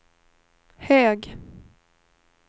hög